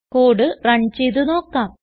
code run ചെയ്ത് നോക്കാം